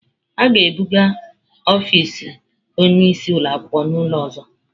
A ga-ebuga ọfisi onye isi ụlọ akwụkwọ n'ụlọ ọzọ.